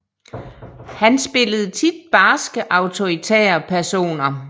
Han spillede tit barske autoritære personer